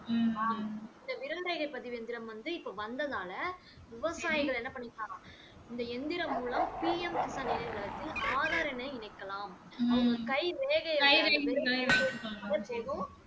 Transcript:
ஆம் இந்த விரல் ரேகை பதிவு இயந்திரம் வந்து இப்ப வந்ததால விவசாயிகள் என்ன பண்ணிருக்காங்க இந்த இயந்திரம் மூலம் PM கிஷான் இணையதளத்தில் ஆதார் எண்ணை இணைக்கலாம் அவங்க கை ரேகைய போதும்